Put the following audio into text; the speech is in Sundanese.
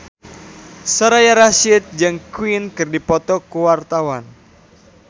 Soraya Rasyid jeung Queen keur dipoto ku wartawan